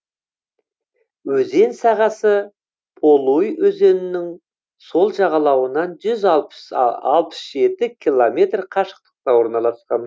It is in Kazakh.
өзен сағасы полуй өзенінің сол жағалауынан жүз алпыс жеті километр қашықтықта орналасқан